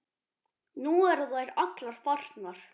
Nú eru þær allar farnar.